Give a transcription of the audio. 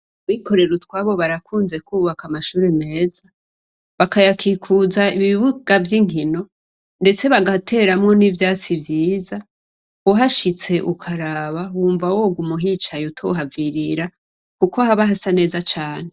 Abikorera utwabo barakunze kwubaka amashure meza ,bakayakikuza ibibuga vy'inkino ndetse bagateramwo n'ivyatsi vyiza, uhashitse ukaraba wumva woguma uhicaye utohavirira ,kuko haba hasa neza cane.